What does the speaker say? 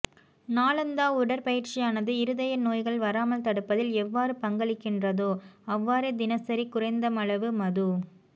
நாளாந்த உடற்பயிற்சியானது இருதய நோய்கள் வராமல் தடுப்பதில் எவ்வாறு பங்களிக்கின்றதோ அவ்வாறே தினசரி குறைந்தளவு மது